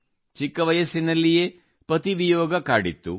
ಚಿಕ್ಕ ವಯಸ್ಸಿನಲ್ಲಿಯೇ ಪತಿ ವಿಯೋಗ ಕಾಡಿತ್ತು